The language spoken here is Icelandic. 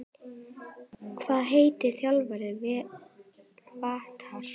Hvað heitir þjálfari Hvatar?